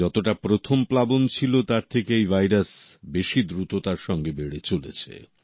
যতটা প্রথম প্লাবন ছিল তার থেকে এই ভাইরাস বেশি দ্রুততার সঙ্গে বেড়ে চলেছে